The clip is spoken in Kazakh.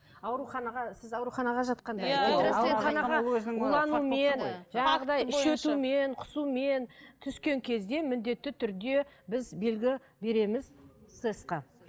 ауруханаға сіз ауруханаға жатқанда құсумен түскен кезде міндетті түрде біз белгі береміз сэс қа